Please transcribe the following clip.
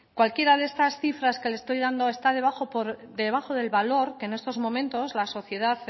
cualquiera de estas cifras que le estoy dando está por debajo del valor que en estos momentos la sociedad